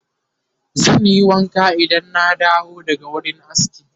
zanyi wanka Idan na dawo daga wurin aski